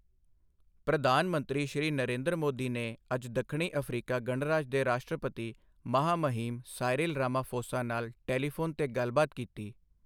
ਪ੍ਰਧਾਨ ਮੰਤਰੀ ਸ਼੍ਰੀ ਨਰੇਂਦਰ ਮੋਦੀ ਨੇ ਅੱਜ ਦੱਖਣੀ ਅਫ਼ਰੀਕਾ ਗਣਰਾਜ ਦੇ ਰਾਸ਼ਟਰਪਤੀ ਮਹਾਮਹਿਮ ਸਾਇਰਿਲ ਰਾਮਾਫ਼ੋਸਾ ਨਾਲ ਟੈਲੀਫ਼ੋਨ ਤੇ ਗੱਲਬਾਤ ਕੀਤੀ।